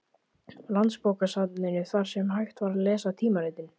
Landsbókasafninu, þar sem hægt var að lesa tímaritin.